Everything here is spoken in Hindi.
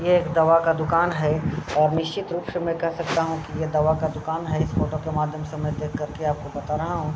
ये एक दवा का दुकान है और निश्चित रूप से में कह सकता हूँ कि ये दवा का दुकान है। इस फोटो के माध्यम से मै देखकर आपको बता रहा हूँ।